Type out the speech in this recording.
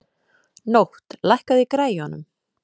Nótt, lækkaðu í græjunum.